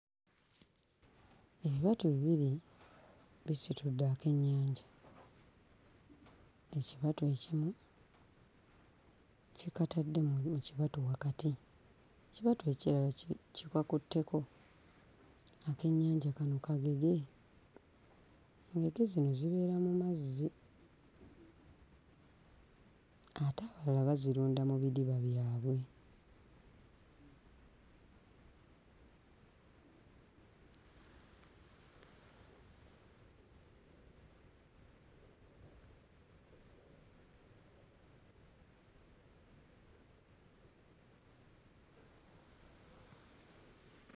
Ebibatu bibiri bisitudde akennyanja, ekibatu ekimu kikataddemu ekibatu wakati, ekibatu ekirala ki kikakutteko, akennynaja kano kagege, engege zino zibeera mu mazzi ate abalala bazirunda mu bidiba byabwe.